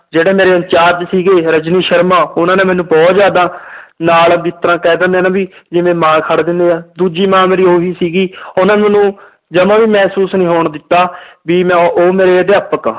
ਜਿਹੜੇ ਮੇਰੇ in charge ਸੀਗੇ ਰਜਨੀ ਸਰਮਾ ਉਹਨਾਂ ਨੇ ਮੈਨੂੰ ਬਹੁਤ ਜ਼ਿਆਦਾ ਨਾਲ ਜਿਸ ਤਰ੍ਹਾਂ ਕਹਿ ਦਿਨੇ ਆਂ ਨਾ ਵੀ ਜਿਵੇਂ ਮਾਂ ਖੜ ਜਾਂਦੇ ਆ, ਦੂਜੀ ਮਾਂ ਮੇਰੀ ਉਹੀ ਸੀਗੀ ਉਹਨਾਂ ਨੇ ਮੈਨੂੰ ਜਮਾ ਵੀ ਮਹਿਸੂਸ ਨੀ ਹੋਣ ਦਿੱਤਾ ਵੀ ਮੈਂ ਉਹ ਮੇਰੇ ਅਧਿਆਪਕ ਆ,